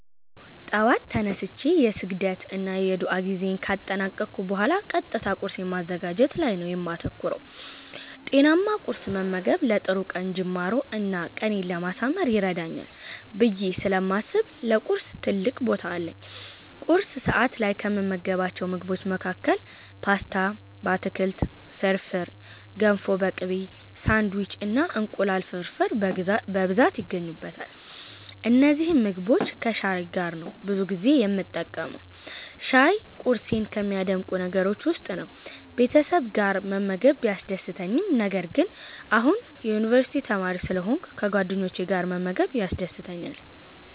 አዎ! ጠዋት ተነስቼ የስግደት እና ዱዓ ጊዜየን ካጠናቀኩ ቡሃላ ቀጥታ ቁርሴን ማዘጋጀት ላይ ነው የማተኩረው። ጤናማ ቁርስ መመገብ ለጥሩ ቀን ጅማሮ እና ቀኔን ለማሳመር ይረዳኛል ብየ ስለማስብ ለቁርስ ትልቅ ቦታ አለኝ። ቁርስ ሰዐት ላይ ከምመገባቸው ምግቦች መሀከል ፓስታ በአትክልት፣ ፍርፍር፣ ገንፎ በቅቤ፣ ሳንዲዊች እና እንቁላል ፍርፍር በብዛት ይገኙበታል። እነዚህን ምግቦች ከሻይ ጋር ነው ብዙ ጊዜ የምጠቀመው። ሻይ ቁርሴን ከሚያደምቁ ነገሮች ውስጥ ነው። ቤተሰብ ጋር መመገብ ቢያስደስትም ነገር ግን አሁን የዩኒቨርስቲ ተማሪ ስለሆንኩ ከጓደኞቼ ጋር መመገብ ያስደስተኛል።